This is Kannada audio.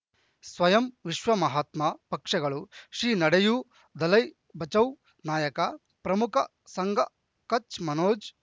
ಸ್ವಯಂ ವಿಶ್ವ ಮಹಾತ್ಮ ಪಕ್ಷಗಳು ಶ್ರೀ ನಡೆಯೂ ದಲೈ ಬಚೌ ನಾಯಕ ಪ್ರಮುಖ ಸಂಘ ಕಚ್ ಮನೋಜ್